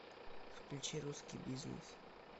включи русский бизнес